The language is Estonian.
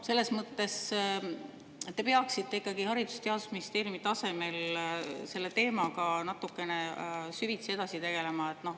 Selles mõttes te peaksite ikkagi Haridus‑ ja Teadusministeeriumi tasemel selle teemaga natukene süvitsi edasi tegelema.